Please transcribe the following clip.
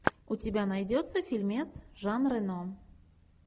у тебя найдется фильмец жан рено